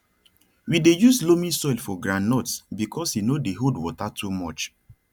we dey use loamy soil for groundnuts because e no dey hold water too much